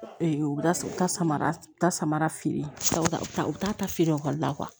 u bɛ taa u taa samara ta samara feere ta u t'a ta feere ekɔli la